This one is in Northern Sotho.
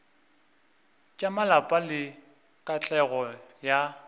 tša malapa le katlego ya